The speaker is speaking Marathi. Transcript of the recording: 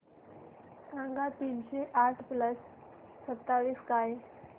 सांगा तीनशे आठ प्लस सत्तावीस काय